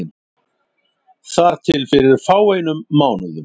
Þar til fyrir fáeinum mánuðum.